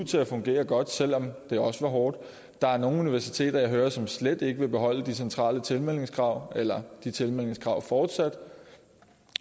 til at fungere godt selv om det også var hårdt der er nogle universiteter som jeg hører slet ikke vil beholde de centrale tilmeldingskrav eller de tilmeldingskrav fortsat